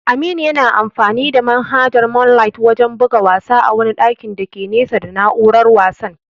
Aminu yana amfani da manhajar moonlight wajen buga wasa a wani ɗakin dake nesa da na'urar wasan.